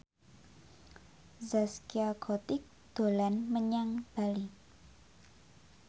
Zaskia Gotik dolan menyang Bali